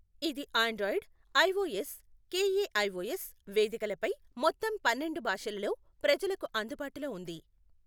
ఇది Android, iOS, KaiOS వేదికలపై మొత్తం పన్నెండు భాషలలో ప్రజలకు అందుబాటులో ఉంది.